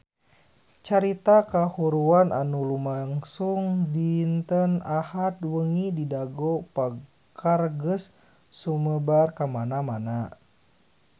Carita kahuruan anu lumangsung dinten Ahad wengi di Dago Pakar geus sumebar kamana-mana